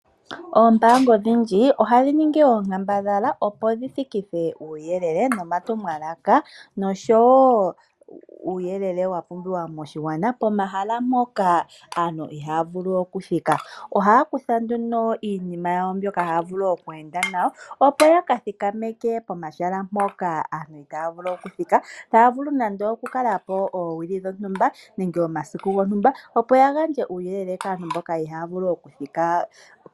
Oombanga odhindji ohadhi ningi oonkambadhala opo dhi thikithe uuyelele nomatumwalaka noshowo uuyelele wapumbiwa moshigwana pomahala mpoka aantu ihaya vulu okuthika. Ohaya kutha nduno iinima yawo mbyoka haya vulu oku enda nayo opo yaka thikameke pomahala mpoka aantu taya vulu okuthika, taya vulu nande oku kalapo oowili dhontumba nenge omasiku gontumba opo yagandje uuyelele kaantu mboka ihaya vulu okuthika